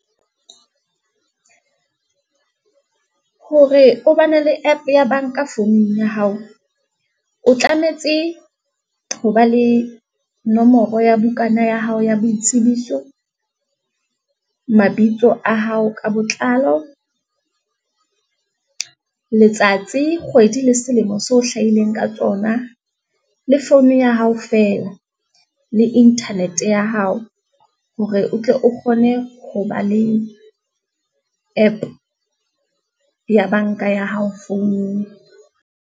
Hore o ba ne le app ya banka founung ya hao, o tlametse ho ba le nomoro ya bukana ya hao ya boitsebiso, mabitso a hao ka botlalo, letsatsi, kgwedi le selemo seo o hlahileng ka tsona, le founu ya hao fela. Le internet ya hao hore o tle o kgone ho ba le app ya banka ya hao founung.